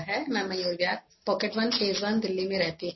I reside in Mayur Vihar, Pocket1, Phase I, Delhi